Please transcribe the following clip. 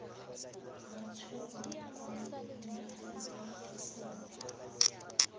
ba tshwerweng kwa dinageng disele